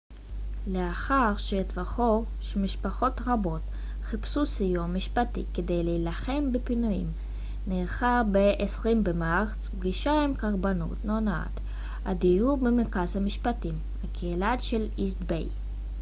לאחר שהתחוור שמשפחות רבות חיפשו סיוע משפטי כדי להילחם בפינויים נערכה ב-20 במרץ פגישה עם קרבנות הונאת הדיור במרכז המשפטים הקהילתי של איסט ביי